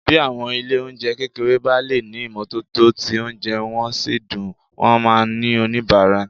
Bí àwọn ilé-oúnjẹ kékeré bá lè ní ìmọ́tótó tí oúnjẹ wọn sì dùn, wọn máa ní oníbàárà